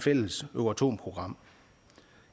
fælles euratom program